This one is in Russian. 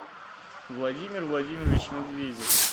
владимир владимирович медведев